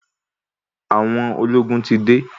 Àwọn ológun ti de.